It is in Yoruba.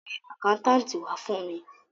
Lọ pe àkáńtáàtì wá fún mi.